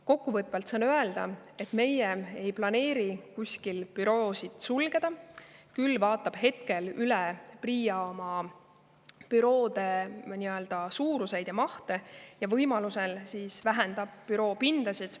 Kokkuvõtvalt saan öelda, et meie ei planeeri kuskil büroosid sulgeda, küll vaatab hetkel üle PRIA oma büroode suuruseid ja mahte ja võimalusel vähendab büroopindasid.